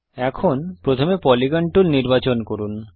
এখন প্রথমে polygon tool নির্বাচন করুন